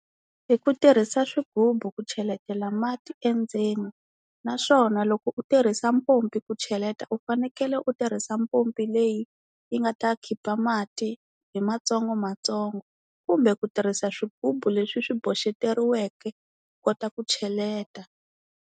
Hi ku tirhisa swigubu ku cheletela mati endzeni, naswona loko u tirhisa mpompi ku cheleta u fanekele u tirhisa mpompi leyi yi nga ta khipa mati hi matsongomatsongo kumbe ku tirhisa swigubu leswi swi boxeteriweke u kota ku cheleta.